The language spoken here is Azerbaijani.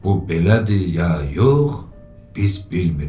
Bu belədir, ya yox, biz bilmirik.